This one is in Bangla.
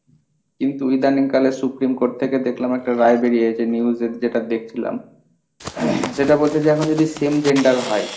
কিন্তু ইদানিং কালে সুপ্রিমকোর্ট থেকে দেখলাম একটা রায় বেরিয়েছে নিউজের যেটা দেখছিলাম, সেটা বলছে যে এখন যদি same gender হয়।